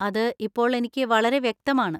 അത് ഇപ്പോൾ എനിക്ക് വളരെ വ്യക്തമാണ്.